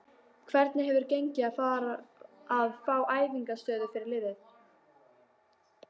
Hvernig hefur gengið að fá æfingaaðstöðu fyrir liðið?